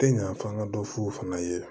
Tɛ ɲa f'an ka dɔ f'u fana ye